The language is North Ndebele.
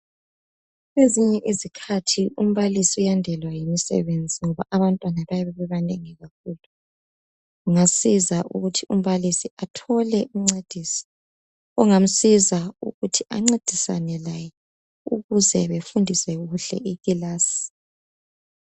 Kwesinye izikhathi umbalisi uyandelwa yimisebenzi ikakhulu yokufundisa ekilasini yingakho kuqakathekile ukudinga omunye oyabe ezancedisa lapho .